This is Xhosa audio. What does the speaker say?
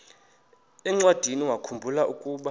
encwadiniwakhu mbula ukuba